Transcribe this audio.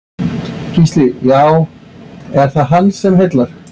Gísli: Já, er það hann sem heillar?